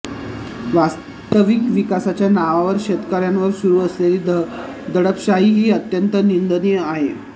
वास्तविक विकासाच्या नावावर शेतकऱयांवर सुरू असलेली दडपशाही ही अत्यंत निंदनीय आहे